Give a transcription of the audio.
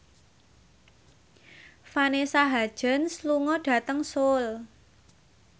Vanessa Hudgens lunga dhateng Seoul